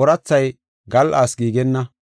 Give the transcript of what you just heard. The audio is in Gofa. oorathay gal7aas giigenna.